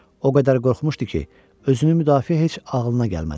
O qədər qorxmuşdu ki, özünü müdafiə heç ağlına gəlmədi.